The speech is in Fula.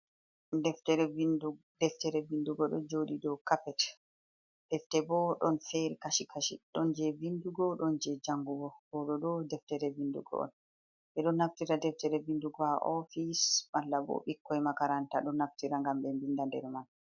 Deftere vindugo ɗo joɗi dow kapet, deftere bo ɗon fere kashi-kashi ɗon je vindugo, ɗon je jangugo. Ɗo ɗo ɗo deftere vindugo on. Ɓeɗo naftira deftere vindugo haa ofis, malla bo ɓikkoy makaranta ɗo naftira ngam ɓe vinda nder man.